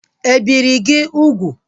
E biri gị ugwu?